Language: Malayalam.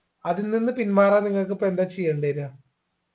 അതിൽ നിന്ന് പിന്മാറാൻ നിങ്ങക്ക് ഇപ്പൊ എന്താ ചെയ്യേണ്ട വരിക